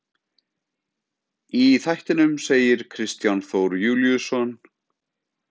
Í þættinum segir Kristján Þór Júlíusson: